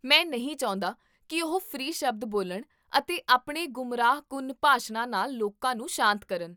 ਮੈਂ ਨਹੀਂ ਚਾਹੁੰਦਾ ਕੀ ਉਹ ਫ੍ਰੀ ਸ਼ਬਦ ਬੋਲਣ ਅਤੇ ਆਪਣੇ ਗੁੰਮਰਾਹਕੁੰਨ ਭਾਸ਼ਣਾਂ ਨਾਲ ਲੋਕਾਂ ਨੂੰ ਸ਼ਾਂਤ ਕਰਨ